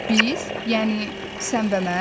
Biz, yəni sən və mən?